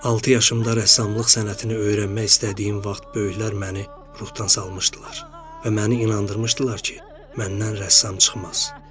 Altı yaşımda rəssamlıq sənətini öyrənmək istədiyim vaxt böyüklər məni ruhdan salmışdılar və məni inandırmışdılar ki, məndən rəssam çıxmaz.